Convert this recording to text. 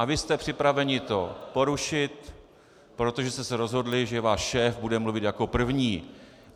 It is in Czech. A vy jste připraveni to porušit, protože jste se rozhodli, že váš šéf bude mluvit jako první.